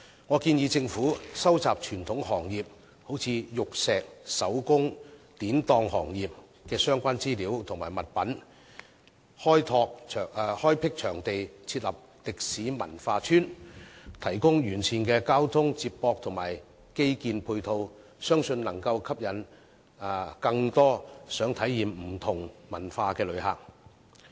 我建議政府收集傳統行業，例如玉石、手工、典當行業的相關資料和物品，開闢場地設立"歷史文化村"，提供完善的交通接駁和基建配套，相信能夠吸引更多想體驗不同文化的旅客。